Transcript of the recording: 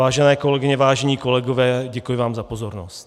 Vážené kolegyně, vážení kolegové, děkuji vám za pozornost.